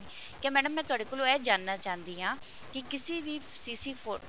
ਠੀਕ ਏ madam ਮੈਂ ਤੁਹਾਡੇ ਕੋਲੋਂ ਇਹ ਜਾਨਣਾ ਚਾਹੁੰਦੀ ਹਾਂ ਕਿ ਕਿਸੀ ਵੀ CC ਫ਼ੋ